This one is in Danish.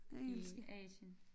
I Asien